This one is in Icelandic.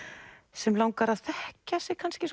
sem langar að þekkja sig kannski